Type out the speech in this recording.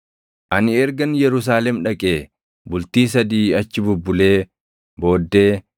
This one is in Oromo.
Ani ergan Yerusaalem dhaqee bultii sadii achi bubbulee booddee